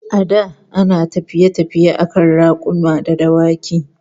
Da ana tafiye-tafiye akan rakuma da dawaki